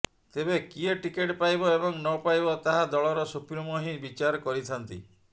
ତେବେ କିଏ ଟିକେଟ ପାଇବ ଏବଂ ନପାଇବ ତାହା ଦଳର ସୁପ୍ରିମୋ ହିଁ ବିଚାର କରିଥାନ୍ତି